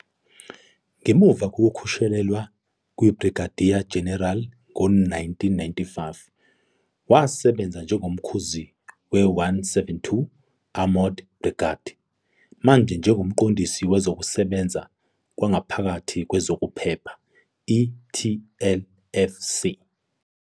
Ngemuva kokukhushulelwa kuBrigadier General ngo-1995, wasebenza njengoMkhuzi we-172nd Armored Brigade nanjengoMqondisi Wezokusebenza Kwangaphakathi Kwezokuphepha, i-TLFC.